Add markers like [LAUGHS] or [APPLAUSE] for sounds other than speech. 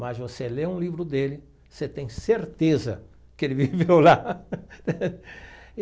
Mas você lê um livro dele, você tem certeza que ele viveu lá. [LAUGHS]